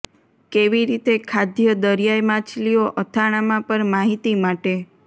કેવી રીતે ખાદ્ય દરિયાઈ માછલીઓ અથાણાંમાં પર માહિતી માટે